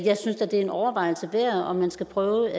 synes da det er en overvejelse værd om man skal prøve